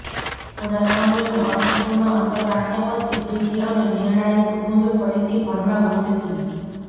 થોડા સમયનું અર્થપૂર્ણ અંતર રાખ્યા પછી ત્રીજી અને નિર્ણાયક ગુંજ ફરીથી ઘરમાં ગુંજતી